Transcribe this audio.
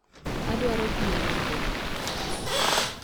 Adwaro pii modho